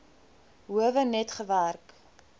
howe net gewerk